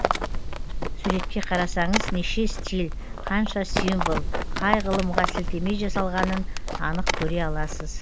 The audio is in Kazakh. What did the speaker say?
суретке қарасаңыз неше стиль қанша символ қай ғылымға сілтеме жасалғанын анық көре аласыз